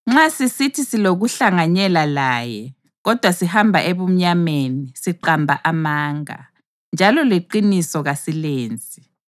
Nxa sisithi silokuhlanganyela laye, kodwa sihamba ebumnyameni, siqamba amanga, njalo leqiniso kasilenzi.